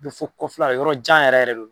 Kofo kɔfɛla yɔrɔ jan yɛrɛ yɛrɛ de don.